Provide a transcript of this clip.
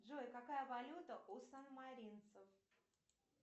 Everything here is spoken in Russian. джой какая валюта у санмаринцев